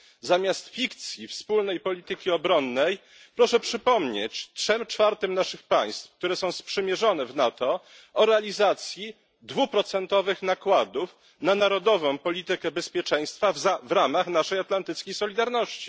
Zamiast fikcji wspólnej polityki obronnej proszę przypomnieć trzem czwartym naszych państw, które są sprzymierzone w NATO, o realizacji 2 procentowych nakładów na narodową politykę bezpieczeństwa w ramach naszej atlantyckiej solidarności.